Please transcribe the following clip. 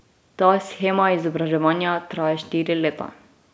Ta shema izobraževanja traja štiri leta.